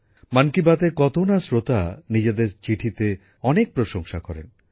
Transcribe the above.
মন কি বাতের কত না শ্রোতা নিজেদের চিঠিতে অনেক প্রশংসা করেন